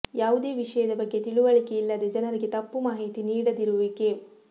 ಯಾವುದೇ ವಿಷಯದ ಬಗ್ಗೆ ತಿಳುವಳಿಕೆ ಇಲ್ಲದೆ ಜನರಿಗೆ ತಪ್ಪು ಮಾಹಿತಿ ನೀಡದಿರುವಿಕೆ